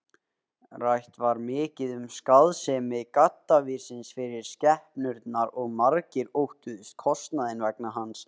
Rætt var mikið um skaðsemi gaddavírsins fyrir skepnurnar og margir óttuðust kostnaðinn vegna hans.